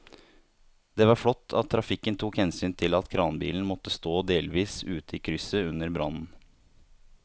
Det var flott at trafikken tok hensyn til at kranbilen måtte stå delvis ute i krysset under brannen.